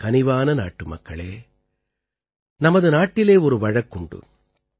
என் கனிவான நாட்டுமக்களே நமது நாட்டிலே ஒரு வழக்குண்டு